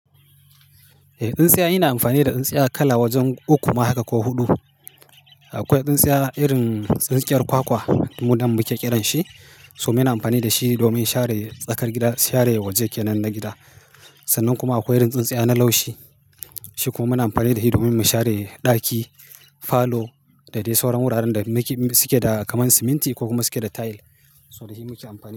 Eh, tsintsiya ina amfani da tsintsiya kala wajen uku ma haka ko huɗu. Akwai tsintsiya irin tsintsiyar kwakwa mu nan muke ƙiranshi, so muna amfani da shi domin share tsakar gida, share waje kenan nan na gida. Sannan kuma akwai irin tsintsiya na laushi. Shi kuma muna amfani da shi domin mu share ɗaki, falo da dai sauran wuraren da suke da kamar siminti ko kuma suke da tile. So da shi muke amfani.